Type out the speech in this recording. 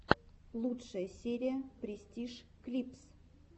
лучшая серия престиж клипс